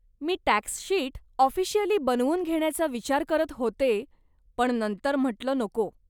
मी tax sheet officially बनवून घेण्याचा विचार करत होते, पण नंतर म्हटलं नको.